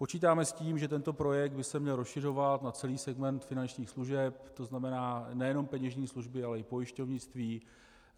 Počítáme s tím, že tento projekt by se měl rozšiřovat na celý segment finančních služeb, to znamená nejenom peněžní služby, ale i pojišťovnictví.